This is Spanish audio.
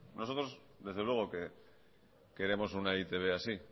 nosotros desde luego queremos una e i te be así